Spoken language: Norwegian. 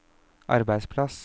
arbeidsplass